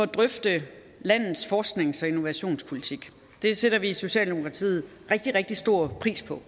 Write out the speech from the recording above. drøfte landets forsknings og innovationspolitik det sætter vi i socialdemokratiet rigtig rigtig stor pris på